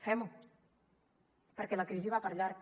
fem ho perquè la crisi va per llarg